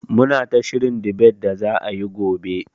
Muna ta shirin dibet da za'a yi gobe.